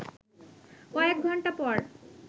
কয়েক ঘণ্টা পর